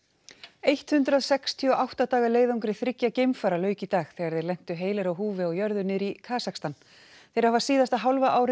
eitt hundrað sextíu og átta daga leiðangri þriggja geimfara lauk í dag þegar þeir lentu heilir á húfi á jörðu niðri í Kasakstan þeir hafa síðasta hálfa árið